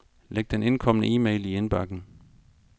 Læg den indkomne e-mail i indbakken.